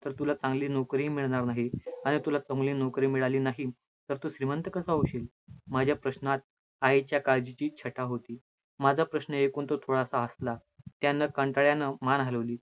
तर तुला चांगली नोकरी मिळणार नाही, आणि तुला चांगली लोकरी मिळाली नाही, तर तु श्रीमंत कसा होशील. माझ्या प्रश्नात मायेच्या काळजीची छटा होती. माझा प्रश्न ऐकून तो थोडासा हसला, त्यानं मान हलवली.